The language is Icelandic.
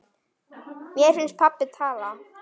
Mér finnst pabbi tala.